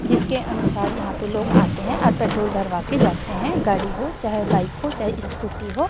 जिसके अनुसार यहां पे लोग आते हैं और पेट्रोल भरवा के जाते हैं गाड़ी हो चाहे बाइक हो चाहे स्कूटी हो--